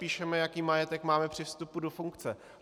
Sepíšeme, jaký majetek máme při vstupu do funkce.